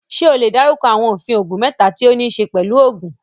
Ṣé o lè dárúkọ àwọn òfin oògùn mẹ́ta tí ó níí ṣe pẹ̀lú òògùn?